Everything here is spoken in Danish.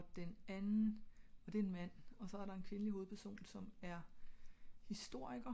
og den anden og det er en mand med en kvindelig hovedperson som er historiker